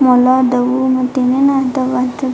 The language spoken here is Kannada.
ಮೊಲ ಅದಾವು ಮತ್ತೆ ಇನ್ನೇನ್ ಅದಾವು.